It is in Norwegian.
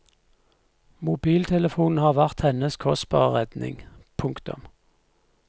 Mobiltelefonen har vært hennes kostbare redning. punktum